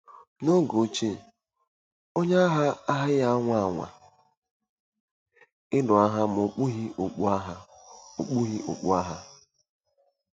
N'oge ochie, onye agha agaghị anwa anwa ịlụ agha ma okpughị okpu agha. okpughị okpu agha.